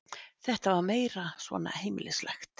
Þetta var meira svona heimilislegt.